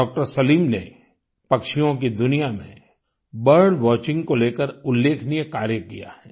doctor Salim ने पक्षियों की दुनिया में बर्ड वॉचिंग को लेकर उल्लेखनीय कार्य किया है